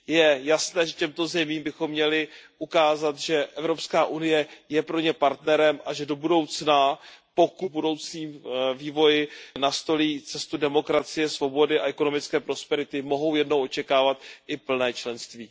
Je jasné, že těmto zemím bychom měli ukázat, že Evropská unie je pro ně partnerem a že do budoucna, pokud budoucí vývoj nastolí cestu demokracie, svobody a ekonomické prosperity, mohou jednou očekávat i plné členství.